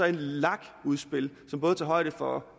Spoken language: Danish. et lag udspil som både tager højde for